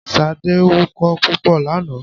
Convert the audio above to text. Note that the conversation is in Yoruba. Ṣadé wukọ́ púpọ̀ lánàá.